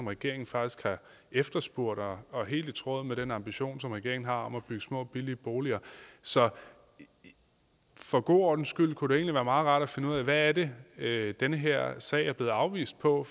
regeringen faktisk har efterspurgt og at helt i tråd med den ambition som regeringen har om at bygge små billige boliger så for god ordens skyld kunne det egentlig være meget rart at finde ud af hvad det er den her sag er blevet afvist på